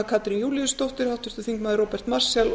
katrín júlíusdóttir róbert marshall og